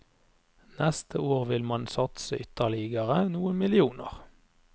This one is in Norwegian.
Neste år vil man satse ytterligere noen millioner.